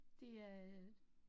Det er et